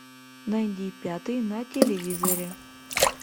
найди пятый на телевизоре